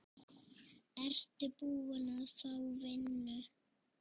Ertu búin að fá vinnu?